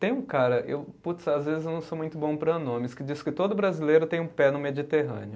Tem um cara eu, puts às vezes eu não sou muito bom para nomes, que diz que todo brasileiro tem um pé no Mediterrâneo.